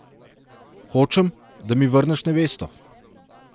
Hočem, da mi vrneš nevesto.